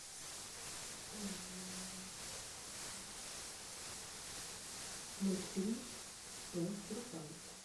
мультфильм про русалочку